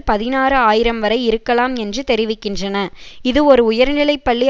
பதினாறு ஆயிரம் வரை இருக்கலாம் என்று தெரிவிக்கின்றன இது ஒரு உயர்நிலை பள்ளி